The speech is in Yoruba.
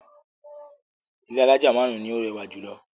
Ilé alájà márùn-ún ni ó rẹwà jù lọ.